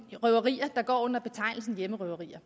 røverier der går under betegnelsen hjemmerøverier